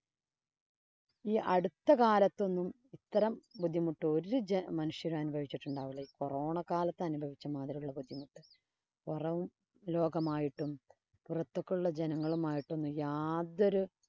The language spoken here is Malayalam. ഈ അടുത്തകാലത്ത് ഒന്നും ഇത്രം ബുദ്ധിമുട്ട് ബുദ്ധിമുട്ട് ഒരു മനുഷ്യരും അനുഭവിച്ചിട്ടുണ്ടാകില്ല ഈ corona കാലത്ത് അനുഭവിച്ച മാതിരി ബുദ്ധിമുട്ട്. പൊറം ലോകമായിട്ടും, പൊറത്ത് ഒക്കെ ഒള്ള ജനങ്ങളുമായിട്ടൊന്നും യാതൊരു